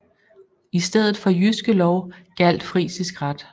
I stedet for Jyske Lov gjaldt frisisk ret